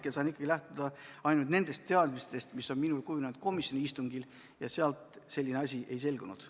Mina saan hetkel lähtuda ikkagi ainult nendest teadmistest, mis on minul kujunenud komisjoni istungil, ja sealt selline asi ei selgunud.